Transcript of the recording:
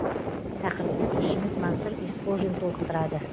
тақырыпты тілшіміз мансұр есқожин толықтырады